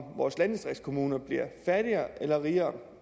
vores landdistriktskommuner bliver fattigere eller rigere